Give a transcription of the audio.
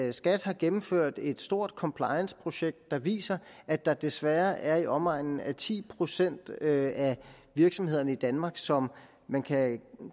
at skat har gennemført et stort complianceprojekt der viser at der desværre er i omegnen af ti procent af virksomhederne i danmark som man kan